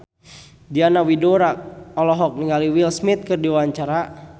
Diana Widoera olohok ningali Will Smith keur diwawancara